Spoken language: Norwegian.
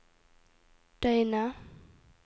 døgnet